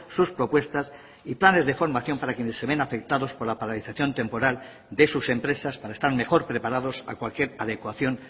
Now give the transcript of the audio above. sus propuestas y planes de formación para quienes se ven afectados por la paralización temporal de sus empresas para estar mejor preparados a cualquier adecuación